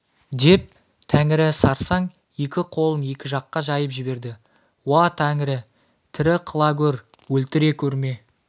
деп тәңірі сарсаң екі қолын екі жаққа жайып жіберді уа тәңірі тірі қыла гөр өлтіре көрме